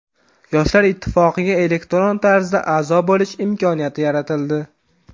Yoshlar ittifoqiga elektron tarzda a’zo bo‘lish imkoniyati yaratildi.